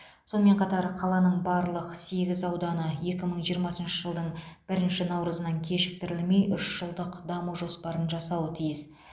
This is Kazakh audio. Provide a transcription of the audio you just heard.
сонымен қатар қаланың барлық сегіз ауданы екі мың жиырмасыншы жылдың бірінші наурызынан кешіктірілмей үш жылдық даму жоспарын жасауы тиіс